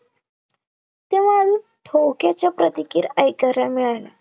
ठोक्याच्या प्रतिक्रिया ऐकायला मिळाल्या